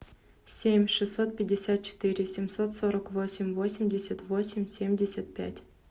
семь шестьсот пятьдесят четыре семьсот сорок восемь восемьдесят восемь семьдесят пять